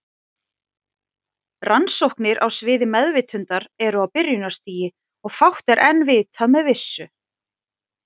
Rannsóknir á sviði meðvitundar eru á byrjunarstigi og fátt er enn vitað með vissu.